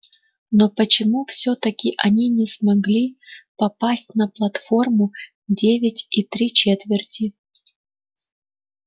но почему всё-таки они не смогли попасть на платформу девять и три четверти